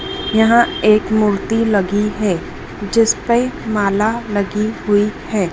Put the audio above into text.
यहां एक मूर्ती लगी है जिसपे माला लगी हुई है।